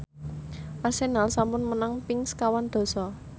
Arsenal sampun menang ping sekawan dasa